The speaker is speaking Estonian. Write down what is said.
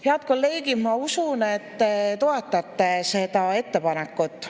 Head kolleegid, ma usun, et te toetate seda ettepanekut.